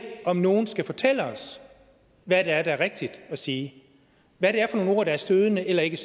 om nogen skal fortælle os hvad der er rigtigt at sige hvad det er for nogle ord der er stødende eller ikke